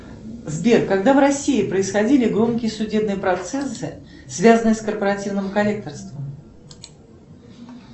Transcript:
сбер когда в россии происходили громкие судебные процессы связанные с корпоративным коллекторством